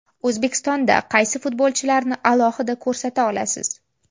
O‘zbekistonda qaysi futbolchilarni alohida ko‘rsata olasiz?